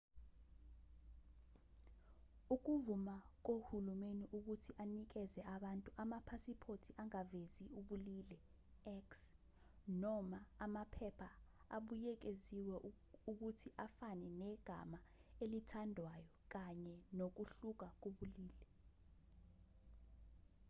ukuvuma kohulumeni ukuthi anikeze abantu amaphasiphothiangavezi ubulili x noma amaphepha abuyekeziwe ukuthi afane negama elithandwayo kanye nokuhluka kobulili